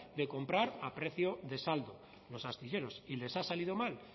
de comprar a precio de saldo los astilleros y les ha salido mal